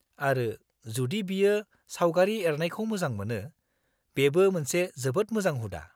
-आरो, जुदि बियो सावगारि एरनायखौ मोजां मोनो, बेबो मोनसे जोबोद मोजां हुदा।